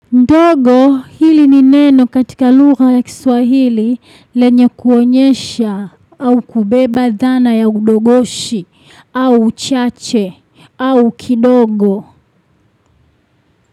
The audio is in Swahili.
Ndogo, hili ni neno katika lugha ya kiswahili lenye kuonyesha au kubeba dhana ya udogoshi au uchache au kidogo.